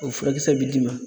O furakisɛ bɛ d'i ma.